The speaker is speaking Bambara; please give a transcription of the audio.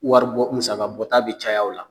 Wari bɔ musaga bɔta bɛ caya o la.